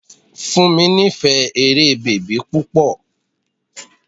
Fúnmi nífẹ̀ẹ́ eré bèbí púpọ̀.